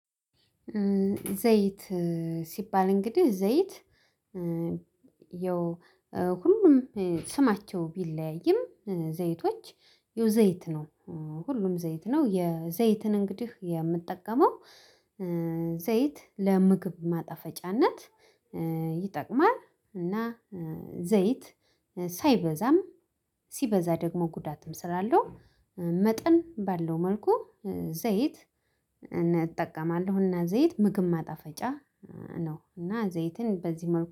ዘይት ሲባል እንግዲህ ዘይት ኧ ያው ሁሉም ስማቸው ቢለያይም ዘይቶች ያው ዘይት ነው ሁሉም ዘይት ነው። የዘይትን እንግዲህ የምትጠቀመው ኧ ዘይት ለምግብ ማጣፈጫነት ኧ ይጠቅማል። እና ዘይት ሳይበዛም ሲበዛ ደግሞ ጉዳትም ስላለው መጠን ባለው መልኩ። ዘይት እኔ እጠቀማለሁና ዘይት ምግብ ማጣፈጫ ነው እና ዘይትን በዚህ መልኩ